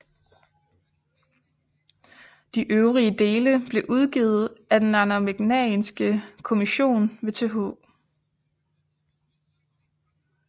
De øvrige dele blev udgivet af Den arnamagnæanske Commission ved Th